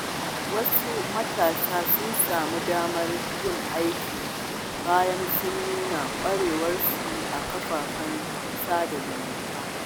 Wasu matasa sun sami damar yin aiki bayan sun nuna ƙwarewarsu a kafafen sada zumunta.